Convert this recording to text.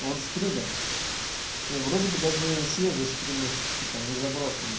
он стример и вроде бы даже свежие стримы типа не заброшены